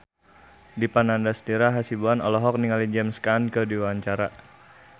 Dipa Nandastyra Hasibuan olohok ningali James Caan keur diwawancara